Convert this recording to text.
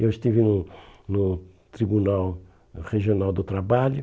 Eu estive no no Tribunal Regional do Trabalho.